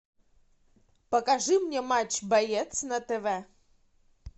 покажи мне матч боец на тв